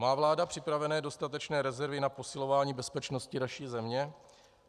Má vláda připravené dostatečné rezervy na posilování bezpečnosti naší země?